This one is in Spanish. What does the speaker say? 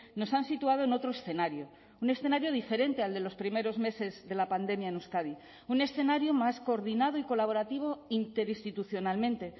nos han situado en otro escenario un escenario diferente al de los primeros meses de la pandemia en euskadi un escenario más coordinado y colaborativo interinstitucionalmente